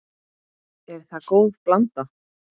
Er það góð blanda.